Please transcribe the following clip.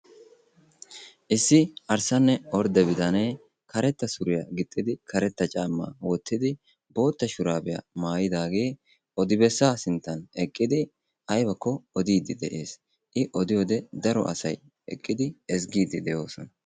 Issi arisanne ordde bittanee karetta suriya gixxidi karetta cammaa wottidi bootta shurabiyaa maayidaagee odibessa sinttan eqidi aybbakko odidi de'ees.I odiyode daro asay eqqidi ezzigiidi de'oosona.